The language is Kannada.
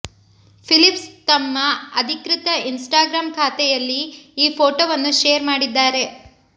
ಫಿಲಿಪ್ಸ್ ತಮ್ಮ ಅಧಿಕೃತ ಇನ್ಸ್ಟಾಗ್ರಾಮ್ ಖಾತೆಯಲ್ಲಿ ಈ ಫೋಟೊವನ್ನು ಶೇರ್ ಮಾಡಿದ್ದಾರೆ